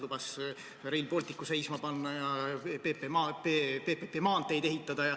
Lubas Rail Balticu seisma panna ja PPP korras maanteid ehitada.